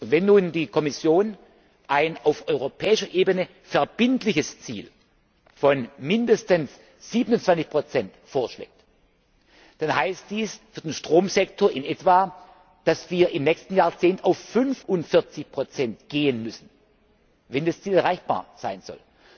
Wenn nun die Kommission ein auf europäischer Ebene verbindliches Ziel von mindestens 27 vorschlägt, dann heißt dies für den Stromsektor in etwa, dass wir im nächsten Jahrzehnt auf 45 gehen müssen, wenn das Ziel erreichbar sein soll.